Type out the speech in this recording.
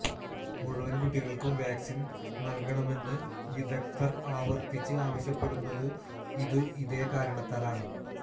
മുഴുവന് കുട്ടികള്ക്കും വാക്സിന് നല്കണമെന്ന് വിദഗ്ധര് ആവര്ത്തിച്ച് ആവശ്യപ്പെടുന്നതും ഇതേ കാരണത്താലാണ്